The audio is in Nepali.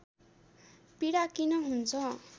पीडा किन हुन्छ